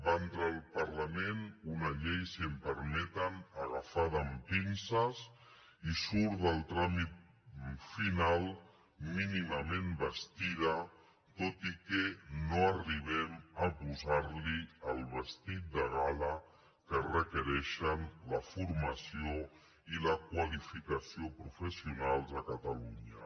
va entrar al parlament una llei si m’ho permeten agafada amb pinces i surt del tràmit final mínimament vestida tot i que no arribem a posar li el vestit de gala que requereixen la formació i la qualificació professionals a catalunya